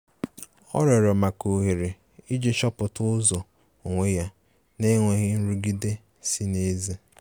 Ọ rịorọ maka ohere iji chọpụta ụzọ onwe ya n'enweghi nrụgide si n'ezi